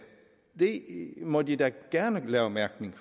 det må de da gerne lave mærkning